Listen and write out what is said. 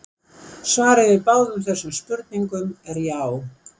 svarið við báðum þessum spurningum er já!